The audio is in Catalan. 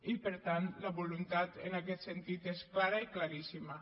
i per tant la voluntat en aquest sentit és clara i claríssima